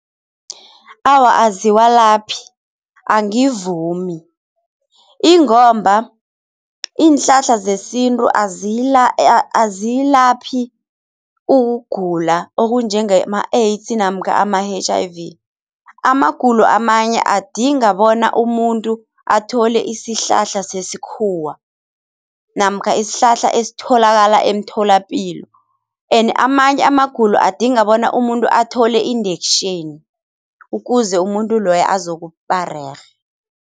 Awa aziwalaphi, angivumi ingomba iinhlahla zesintu aziyilaphi ukugula okunjengema-AIDS namkha ama-H_I_V. Amagulo amanye adinga bona umuntu athole isihlahla sesikhuwa namkha isihlahla esitholakala emtholapilo and amanye amagulo adinga bona umuntu athole i-injection ukuze umuntu loyo azokuba rerhe.